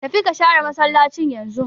Tafi ka share massalaci yanzun!